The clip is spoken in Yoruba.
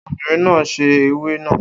Obìnrin náà sè ewé náà